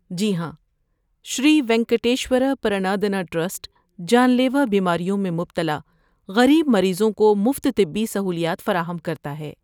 جی ہاں، شری وینکٹیشور پرندان ٹرسٹ جان لیوا بیماریوں میں مبتلا غریب مریضوں کو مفت طبی سہولیات فراہم کرتا ہے۔